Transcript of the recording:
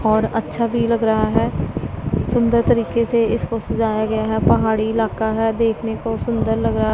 और अच्छा भी लग रहा हैं सुंदर तरीके से इसको सजाया गया हैं पहाड़ी इलाका हैं देखने को सुंदर लग रहा--